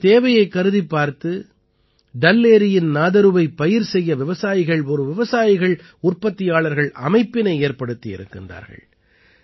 இந்தத் தேவையைக் கருதிப் பார்த்து டல் ஏரியின் நாதரூவைப் பயிர் செய்ய விவசாயிகள் ஒரு விவசாயிகள் உற்பத்தியாளர்கள் அமைப்பினை ஏற்படுத்தியிருக்கிறார்கள்